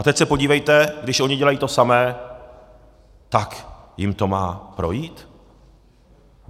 A teď se podívejte, když oni dělají to samé, tak jim to má projít?